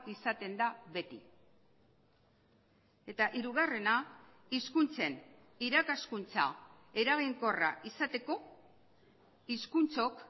izaten da beti eta hirugarrena hizkuntzen irakaskuntza eraginkorra izateko hizkuntzok